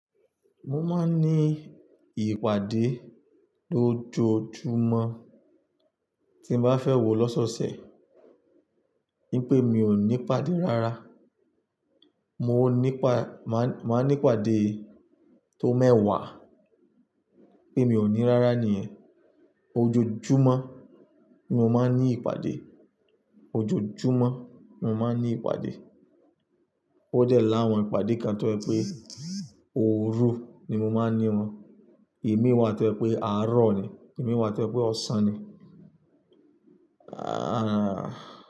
Mo máa ń ní ìpàdé lójoojúmọ́ tí n bá fẹ́ wò lọ́sọ́ọ̀ọ̀sẹ̀. Bí i pé mi ò ní ìpàdé rárá, mo nípa, máa ní ìpàdé tó mẹ́wà. Bí i pé mi ò ní rárá nìyẹn. Ojoojúmọ́ ni mo máa ń ní ìpàdé, ojoojúmọ́ ni mo máa ń ní ìpàdé. Ó dẹ̀ láàwọn ìpàdé kan tó jẹ̀ pé òru ni mo máa ń ní wọn. Imi wá tó jẹ̀ pé àárọ̀ ni, imi wá tó jẹ̀ pé ọ̀sán ni. Ahhh.